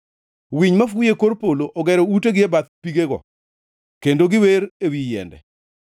Winy mafuyo e kor polo ogero utegi e bath pigego, kendo giwer ewi yiende.